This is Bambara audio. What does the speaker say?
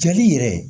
Cɛli yɛrɛ